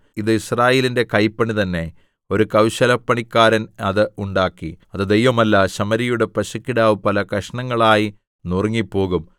ഇത് യിസ്രായേലിന്റെ കൈപ്പണി തന്നെ ഒരു കൗശലപ്പണിക്കാരൻ അത് ഉണ്ടാക്കി അത് ദൈവമല്ല ശമര്യയുടെ പശുക്കിടാവ് പല കഷണങ്ങളായി നുറുങ്ങിപ്പോകും